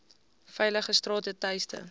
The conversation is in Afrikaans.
veilige strate tuiste